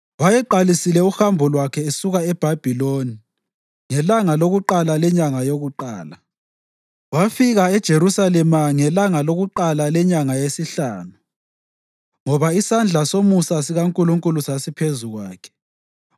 Wayeqalise uhambo lwakhe esuka eBhabhiloni ngelanga lakuqala lenyanga yokuqala, wafika eJerusalema ngelanga lakuqala lenyanga yesihlanu, ngoba isandla somusa sikaNkulunkulu sasiphezu kwakhe.